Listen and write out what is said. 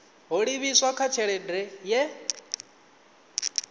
ho livhiswa kha tshelede ye